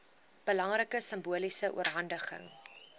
belangrike simboliese oorhandiging